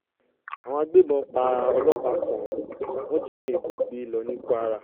àwọn agbébọn pa ọlọ́pàá kan wọ́n jí òyìnbó gbé lọ ní kwara